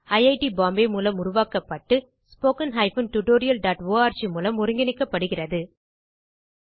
ஐட் பாம்பே மூலம் உருவாக்கப்பட்டு wwwspoken tutorialorg மூலம் ஒருங்கிணைக்கப்பட்டது